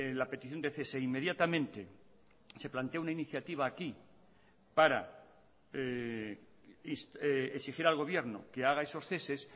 la petición de cese inmediatamente se plantea una iniciativa aquí para exigir al gobierno que haga esos ceses